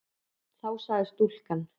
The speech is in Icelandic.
Þá sagði stúlkan